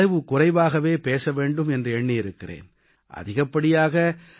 இந்த முறை அளவு குறைவாகப் பேச வேண்டும் என்று எண்ணியிருக்கிறேன்